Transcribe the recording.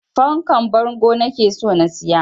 Fankar bango nake so na siya